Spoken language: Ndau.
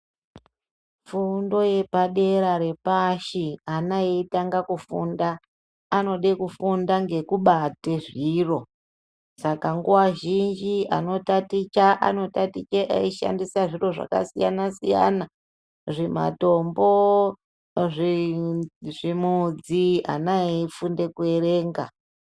Fundo yepadera repashi ana eitanga kufunda anoda kufunda ngekubate zviro saka nguva zhinji ano taticha anotaticha anoshandisa zviro zvakasiyana siyana zvimatombo, zvimudzi ana eifunde kuerenga.